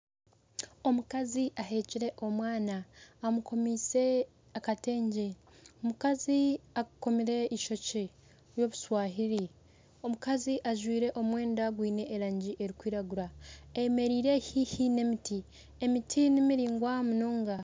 Omukazi aheekire omwana amukomise akatengye, omukazi akomire eishokye ry'obuswahili, omukazi ajwaire omwenda gwiine erangi erikwiragura ayemereire haihi n'emiti, emiti nimiraingwa munonga.